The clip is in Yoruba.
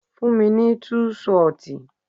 Fún mi ní tú ṣọtì.